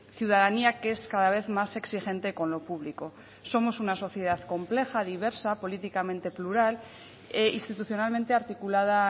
ciudadanía que es cada vez más exigente con lo público somos una sociedad compleja diversa políticamente plural e institucionalmente articulada